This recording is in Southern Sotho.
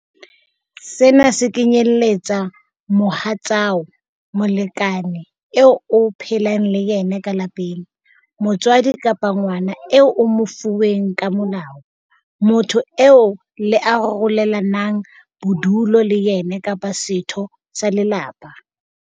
Sena se kenyeletsa mohatsao, molekane eo o phelang le yena ka lapeng, motswadi kapa ngwana eo o mo fuweng ka molao, motho eo le arolelanang bodulo le yena kapa setho sa lelapa.